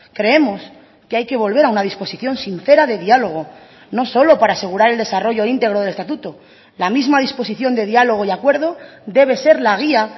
creemos que hay que volver a una disposición sincera de diálogo no solo para asegurar el desarrollo íntegro del estatuto la misma disposición de diálogo y acuerdo debe ser la guía